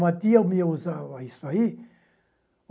Uma tia minha usava isso aí.